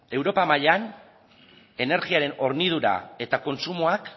europa mailan energiaren hornidura eta kontsumoak